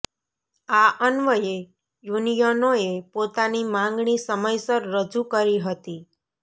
આ અન્વયે યુનિયનોએ પોતાની માંગણી સમયસર રજૂ કરી હતી